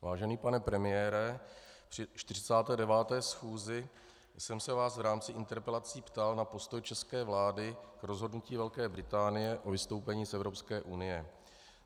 Vážený pane premiére, při 49. schůzi jsem se vás v rámci interpelací ptal na postoj české vlády k rozhodnutí Velké Británie o vystoupení z Evropské unie.